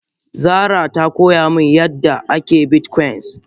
Zara ta koya mun yadda ake bitcoin.